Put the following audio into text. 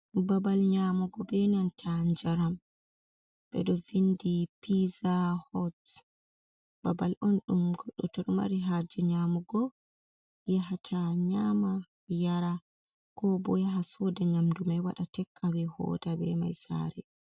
Babal nyamugo benanta njaram bedo vindi piza hots, babal on dum goddo tor mari haje nyamugo yahata nyama yara ko bo yaha soda nyamdu mai wada tek awe hota be mai sare.